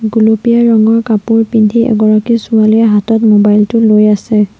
গুলপীয়া ৰঙৰ কাপোৰ পিন্ধি এগৰাকী ছোৱালীয়ে হাতত মোবাইল টো লৈ আছে।